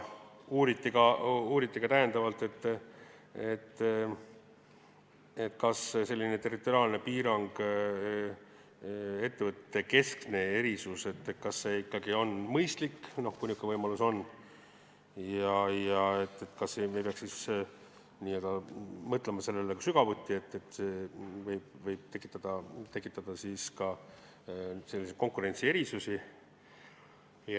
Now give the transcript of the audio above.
Uuriti täiendavalt, kas selline territoriaalne piirang, ettevõtetekeskne erisus, on ikkagi mõistlik, kui niisugune võimalus on, ja kas me ei peaks mõtlema sügavuti sellele, et see võib tekitada ka konkurentsierisusi.